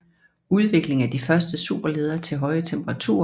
Udvikling af de første superledere til høje temperaturer